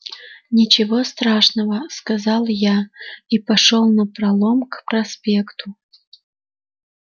ничего страшного сказал я и пошёл напролом к проспекту